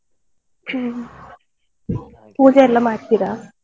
ಹ್ಮ್ ಹಾಗೆ. ಪೂಜೆಯೆಲ್ಲ ಮಾಡ್ತೀರಾ?